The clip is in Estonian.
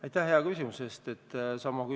Aitäh hea küsimuse eest!